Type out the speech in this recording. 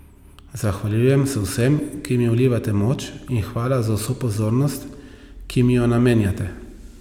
Zahvaljujem se vsem, ki mi vlivate moč, in hvala za vso pozornost, ki mi jo namenjate.